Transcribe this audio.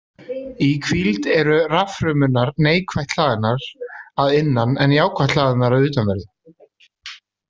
Í hvíld eru raffrumurnar neikvætt hlaðnar að innan en jákvætt hlaðnar að utanverðu.